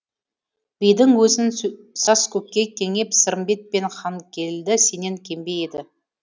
бидің өзін саскөкекке теңеп сырымбет пен хангелді сенен кембе еді